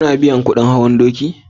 kun biya kudin hawan doki?